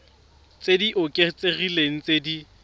tse di oketsegileng tse di